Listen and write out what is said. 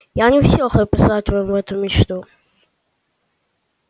я не в силах описать вам эту мечту